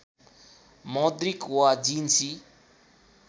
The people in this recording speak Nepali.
मौद्रिक वा जिन्सी